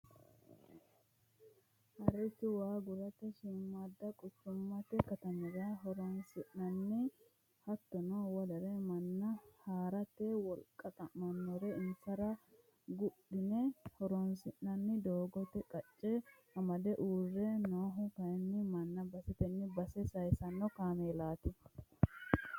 Haricho waa gudhate shiimada quchumate katamira horonsi'nanni hattono wolere manna haarate wolqa xa'manore isera wodhine hodhissani ,doogote qacce amade uurre noohu kayinni manna baseteni base saysano kaameellati.